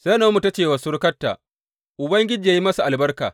Sai Na’omi ta ce wa surukarta, Ubangiji yă yi masa albarka!